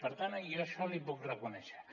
per tant jo això li ho puc reconèixer